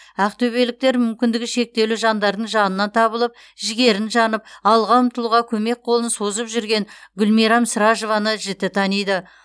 ақтөбеліктер мүмкіндігі шектеулі жандардың жанынан табылып жігерін жанып алға ұмтылуға көмек қолын созып жүрген гүлмирам сражованы жіті таниды